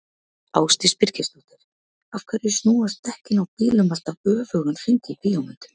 Ásdís Birgisdóttir: Af hverju snúast dekkin á bílum alltaf öfugan hring í bíómyndum?